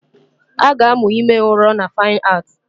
A ga-amụ ime ụrọ na Fine Art